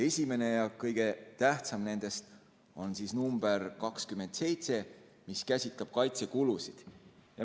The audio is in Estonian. Esimene ja kõige tähtsam nendest oli ettepanek nr 27, mis käsitleb kaitsekulusid.